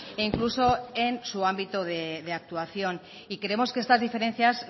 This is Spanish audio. e incluso en su ámbito de actuación y creemos que estas diferencias